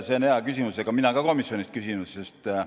See on hea küsimus, mina ka komisjonis küsisin selle kohta.